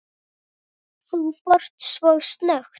Þú fórst svo snöggt.